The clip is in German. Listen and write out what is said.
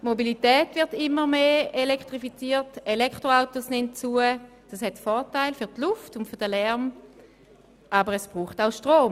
Die Mobilität wird immer stärker elektrifiziert, die Anzahl der Elektroautos nimmt zu, was für die Luft und den Lärm ein Vorteil ist, aber es braucht Strom.